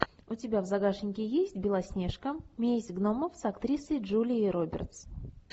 у тебя в загашнике есть белоснежка месть гномов с актрисой джулией робертс